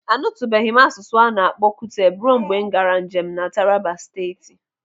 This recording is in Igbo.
Anutubeghi m asụsụ ana-akpọ Kuteb ruo mgbe m gaara njem na Taraba Steeti.